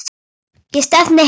Ég stefni heim til hennar.